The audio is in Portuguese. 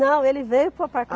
Não, ele veio para o